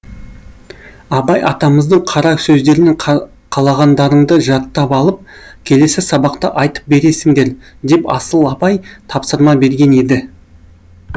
абай атамыздың қара сөздерінен қалағандарыңды жаттап алып келесі сабақта айтып бересіңдер деп асыл апай тапсырма берген еді